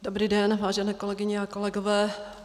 Dobrý den, vážené kolegyně a kolegové.